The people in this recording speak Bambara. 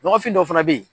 Nɔgɔfin dɔ fana bɛ yen